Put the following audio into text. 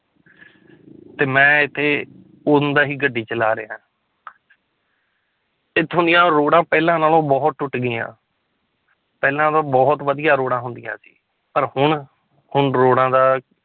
ਤੇ ਮੈਂ ਇੱਥੇ ਉਦੋਂ ਦਾ ਹੀ ਗੱਡੀ ਚਲਾ ਰਿਹਾਂ ਇੱਥੋਂ ਦੀ ਰੋਡਾਂ ਪਹਿਲਾਂ ਨਾਲੋਂ ਬਹੁਤ ਟੁੱਟ ਗਈਆਂ ਪਹਿਲਾਂ ਤਾਂ ਬਹੁਤ ਵਧੀਆ ਰੋਡਾਂ ਹੁੰਦੀਆਂ ਸੀ ਪਰ ਹੁਣ ਹੁਣ ਰੋਡਾਂ ਦਾ